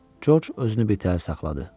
Corc özünü birtəhər saxladı.